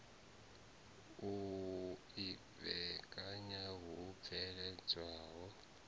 u i vhekanya hu bveledzwaho